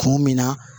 Kun min na